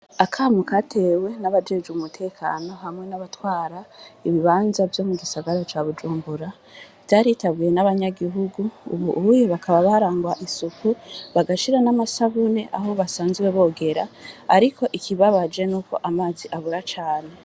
Akamukatewe n'abajeje umutekano hamwe n'abatwara ibibanza vyo mu gisagara ca bujumbura vyaritabuye n'abanyagihugu, ubu ubuye bakaba barangwa isuku bagashira n'amasabune aho basanziwe bogera, ariko ikibabaje n'uko amazi abura cane.